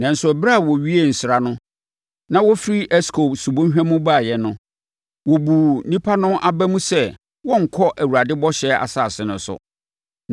nanso ɛberɛ a wɔwiee nsra no na wɔfiri Eskol subɔnhwa mu baeɛ no, wɔbuu nnipa no aba mu sɛ wɔrenkɔ Awurade Bɔhyɛ Asase no so.